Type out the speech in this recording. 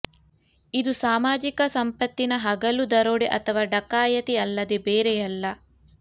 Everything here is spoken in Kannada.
ಇದು ಸಾಮಾಜಿಕ ಸಂಪತ್ತಿನ ಹಗಲು ದರೋಡೆ ಅಥವಾ ಡಕಾಯತಿ ಅಲ್ಲದೆ ಬೇರೆ ಅಲ್ಲ